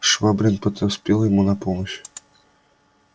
швабрин подоспел ему на помощь